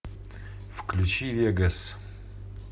включи вегас